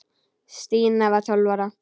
Stína var tólf ára.